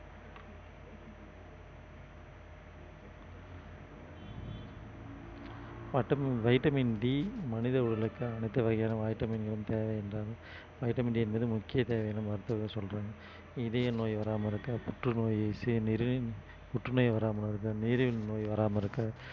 vitamin D மனித உடலுக்கு அனைத்து வகையான vitamin களும் தேவை இருந்தாலும் vitamin D என்பது முக்கிய தேவைன்னு மருத்துவர்கள் சொல்றாங்க இதய நோய் வராம இருக்க புற்றுநோய் புற்றுநோய் வராம இருக்க நீரிழிவு நோய் வராம இருக்க